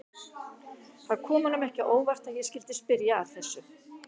Það kom honum ekki á óvart að ég skyldi spyrja að þessu.